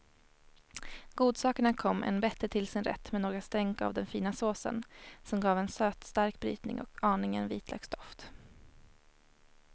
Godsakerna kom än bättre till sin rätt med några stänk av den fina såsen, som gav en sötstark brytning och aningen vitlöksdoft.